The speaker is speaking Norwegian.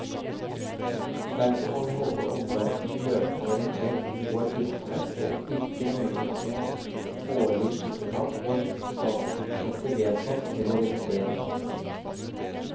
Derfor må vi holde omverdenen løpende orientert om vår virksomhet, og ikke nøye oss med årlige skippertak når statsbudsjettet vedtas eller revideres.